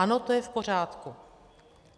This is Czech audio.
Ano, to je v pořádku.